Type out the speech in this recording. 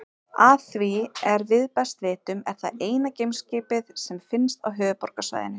Að því er við best vitum er það eina geimskipið sem finnst á Höfuðborgarsvæðinu.